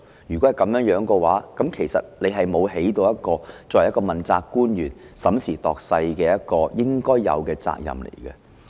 如果這樣的話，其實局長沒有背負起一個作為問責官員審時度勢應有的責任。